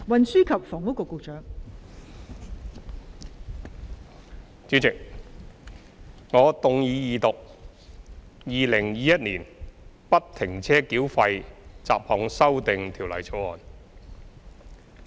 代理主席，我動議二讀《2021年不停車繳費條例草案》。